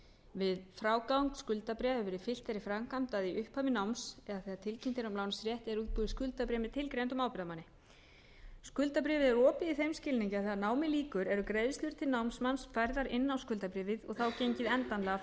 við frágang skuldabréfa hefur verið fylgt þeirri framkvæmd að í upphafi náms eða þegar tilkynnt er um lánsrétt er útbúið skuldabréf með tilgreindum ábyrgðarmanni skuldabréfið er opið í þeim skilningi að þegar námi lýkur eru greiðslur til námsmanns færðar inn á skuldabréfið og þá gengið endanlega frá